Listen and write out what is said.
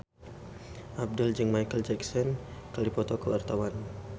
Abdel jeung Micheal Jackson keur dipoto ku wartawan